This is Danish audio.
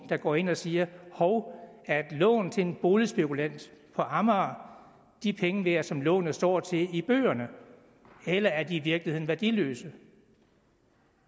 der går ind og siger hov er et lån til en boligspekulant på amager de penge værd som lånet står til i bøgerne eller er det i virkeligheden værdiløst